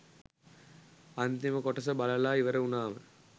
අන්තිම කොටස බලලා ඉවර උනාම